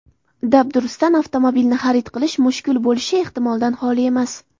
Dabdurustdan avtomobilni xarid qilish mushkul bo‘lishi ehtimoldan xoli emas.